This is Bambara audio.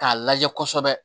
K'a lajɛ kɔsɛbɛ